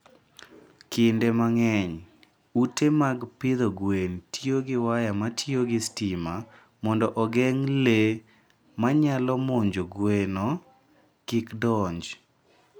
Kinde mang'eny, ute mag pidho gwen tiyo gi waya matiyo gi sitima mondo ogeng' le ma nyalo monjo gweno kik donj.